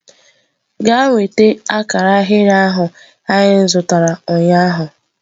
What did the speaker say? Gaa nweta akara ahịrị ahụ anyị zụtara ụnyaahụ!.